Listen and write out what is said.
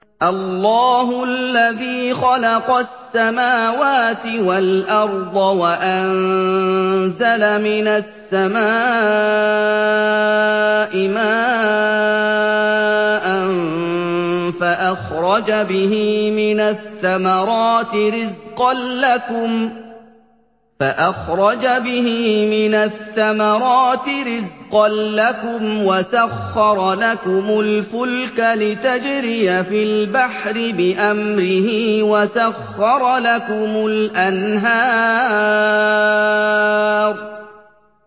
اللَّهُ الَّذِي خَلَقَ السَّمَاوَاتِ وَالْأَرْضَ وَأَنزَلَ مِنَ السَّمَاءِ مَاءً فَأَخْرَجَ بِهِ مِنَ الثَّمَرَاتِ رِزْقًا لَّكُمْ ۖ وَسَخَّرَ لَكُمُ الْفُلْكَ لِتَجْرِيَ فِي الْبَحْرِ بِأَمْرِهِ ۖ وَسَخَّرَ لَكُمُ الْأَنْهَارَ